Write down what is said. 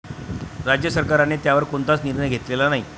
राज्य सरकारने त्यावर कोणताच निर्णय घेतलेला नाही.